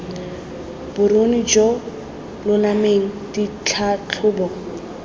boruni jo bo lolameng ditlhatlhobo